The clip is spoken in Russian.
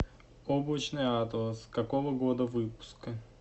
облачный атлас какого года выпуска